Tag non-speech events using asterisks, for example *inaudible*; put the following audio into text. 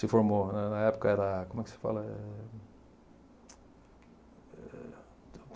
Se formou, né, na época era, como é que se fala? É *unintelligible*